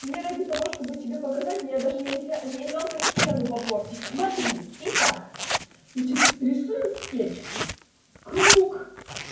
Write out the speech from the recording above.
мне ради того чтобы тебе показать мне даже нельзя не жалко стену попортить смотри итак значит рисуем скетч круг